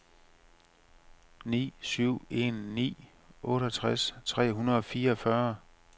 ni syv en ni otteogtres tre hundrede og fireogfyrre